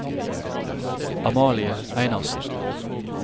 Amalie Einarsen